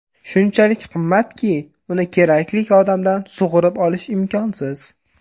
Shunchalik qimmatki, uni kerakli odamdan sug‘urib olish imkonsiz.